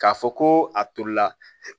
K'a fɔ ko a tolila